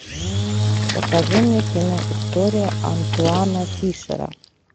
покажи мне кино история антуана фишера